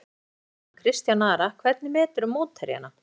Leiknismanninn hann Kristján Ara Hvernig meturðu mótherjana?